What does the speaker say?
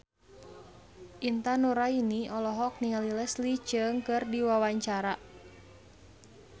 Intan Nuraini olohok ningali Leslie Cheung keur diwawancara